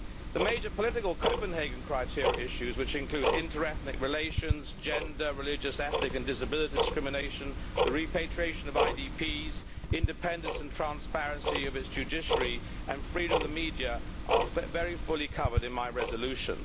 The major political Copenhagen criteria issues, which include inter ethnic relations, gender, religious, ethnic and disability discrimination, the repatriation of IDPs, independence and transparency of the judiciary, and freedom of the media, are very fully covered in my resolution.